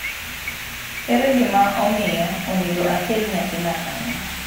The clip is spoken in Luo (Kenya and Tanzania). Ere gima omiyo onego akel nyathina kanyo?